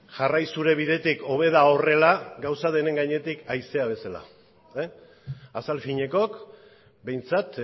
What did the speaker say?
jarrai zure bidetik hobe da horrela gauza denen gainetik haizea bezala azal finekook behintzat